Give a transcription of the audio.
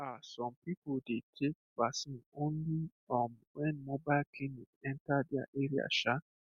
um some people dey take vaccine only um when mobile clinic enter their area um